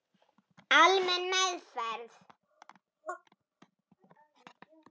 Almenn meðferð